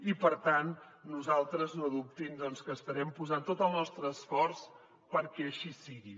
i per tant nosaltres no dubtin que hi estarem posant tot el nostre esforç perquè així sigui